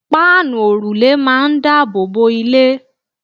páànù òrùlé máà ń daboobo ilé